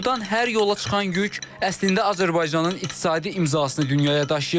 Burdan hər yola çıxan yük əslində Azərbaycanın iqtisadi imzasını dünyaya daşıyır.